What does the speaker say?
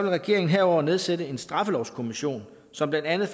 regeringen herudover nedsætte en straffelovskommission som blandt andet